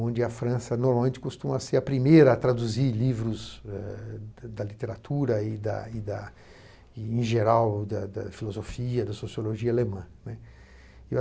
onde a França costuma ser a primeira a traduzir livros ah da literatura e da e da, em geral, da filosofia da sociologia alemã.